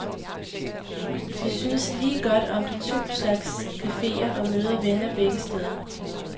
De synes lige godt om de to slags cafeer og møder venner begge steder.